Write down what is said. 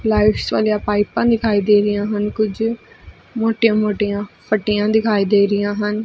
Lights ਵਾਲੀਆਂ ਪਾਈਪਾਂ ਦਿਖਾਈ ਦੇ ਰਹੀਆਂ ਹਨ ਕੁਝ ਮੋਟੀਆਂ ਮੋਟੀਆਂ ਫਟੀਆਂ ਦਿਖਾਈ ਦੇ ਰਹੀਆਂ ਹਨ।